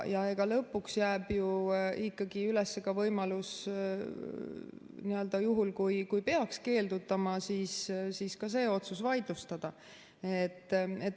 Lõpuks jääb ju ikkagi üles ka võimalus, juhul kui peaks keeldutama, siis ka see otsus vaidlustada.